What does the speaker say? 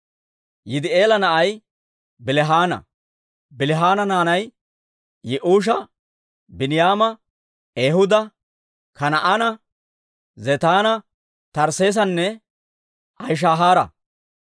Yidi'eela na'ay Bilihaana. Bilihaana naanay Yi'uusha, Biiniyaama, Ehuuda, Kanaa'ina, Zetaana, Tarsseesanne Ahishahaara;